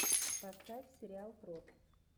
поставь сериал крот